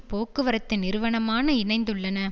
போக்குவரத்து நிறுவனமான இணைந்துள்ளன